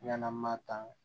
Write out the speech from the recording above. Yann'an ma tan